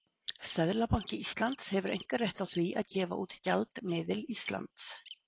Seðlabanki Íslands hefur einkarétt á því að gefa út gjaldmiðil Íslands.